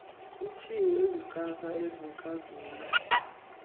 kutshiwo ezikrakra ezikrazula